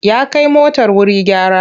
Ya kai motar wuri gyara.